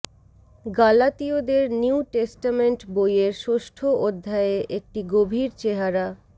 গালাতীয়দের new testament বইয়ের ষষ্ঠ অধ্যায়ে একটি গভীর চেহারা